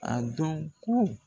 A dɔn ko